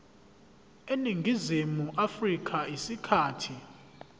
eningizimu afrika isikhathi